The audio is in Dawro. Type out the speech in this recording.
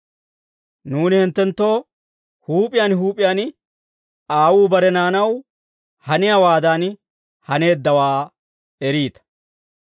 Nuuni hinttenttoo huup'iyaan huup'iyaan aawuu bare naanaw haniyaawaadan haneeddawaa eriita.